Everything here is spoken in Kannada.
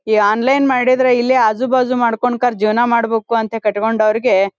ಈ ಆನ್ಲೈನ್ ಮಾಡಿದ್ರೆ ಇಲ್ಲೇ ಆಜು ಬಾಜು ಮಾಡ್ಕೊಂಡು ಕರ್ ಜೀವನ ಮಾಡಬೇಕು ಅಂತ ಕಟ್ಟಿ ಕೊಂಡವರಿಗೆ --